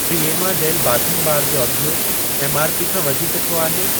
Fiama gel bathing bar जो अघि MRP खां वधीक छो आहे?